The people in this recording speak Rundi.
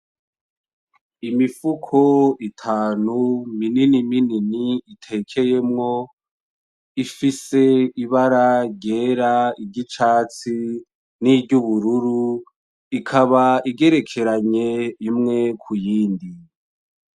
Imifuko itanu minini minini, itekeyemwo ifise ibara ryera, iry'icatsi, niry'ubururu ikaba igerekeranye imwe kuyindi.